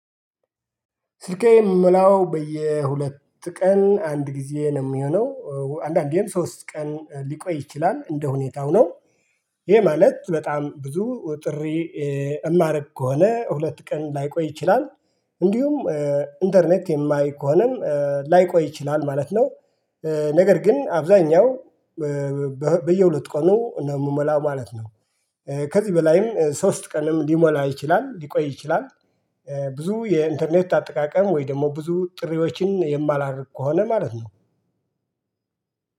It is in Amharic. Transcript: ስልኬ የምሞላው በየሁለት ቀን አንድ ጊዜ ነው የሚሆነው አንዳንዴም ሶስት ቀን ሊቆይ ይችላል እንደሁኔታው ነው። ይሄ ማለት በጣም ብዙ ጥሪ። እማረግ ከሆነ ሁለት ቀን ላይቆይ ይችላል። እንዲሁም ኢንተርኔት የማይ ከሆነም ላይቆይ ይችላል ማለት ነው። ነገር ግን አብዛኛው በየሁለት ቀኑ ነው የምሞላ ማለት ነው። ከዚህ በላይም ሶስት ቀንም ሊሞላ ይችላል ሊቆይ ይችላል። ብዙ የኢንተርኔት አጠቃቀም ወይ ደግሞ ብዙ ጥሪዎችን የማላደርግ ከሆነ ማለት ነው።